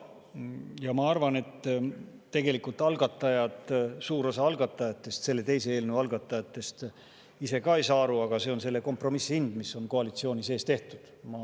Ja ma arvan, et tegelikult suur osa selle teise eelnõu algatajatest ise ka ei saa aru, aga see on selle kompromissi hind, mis on koalitsiooni sees tehtud.